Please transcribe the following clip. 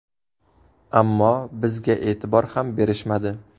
Ammo bizga e’tibor ham berishmadi.